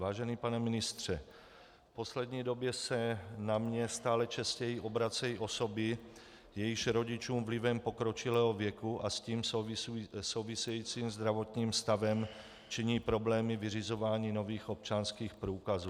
Vážený pane ministře, v poslední době se na mě stále častěji obracejí osoby, jejichž rodičům vlivem pokročilého věku a s tím souvisejícím zdravotním stavem činí problémy vyřizování nových občanských průkazů.